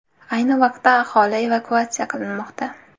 Ayni vaqtda aholi evakuatsiya qilinmoqda.